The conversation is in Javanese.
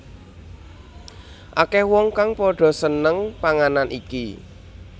Akeh wong kang padha seneng panganan iki